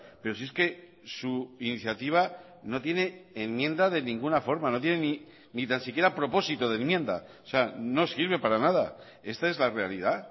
pero si es que su iniciativa no tiene enmienda de ninguna forma no tiene ni tan siquiera propósito de enmienda o sea no sirve para nada esta es la realidad